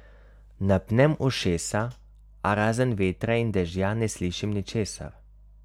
Napnem ušesa, a razen vetra in dežja ne slišim ničesar.